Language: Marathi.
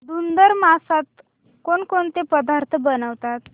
धुंधुर मासात कोणकोणते पदार्थ बनवतात